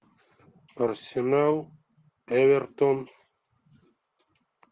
арсенал эвертон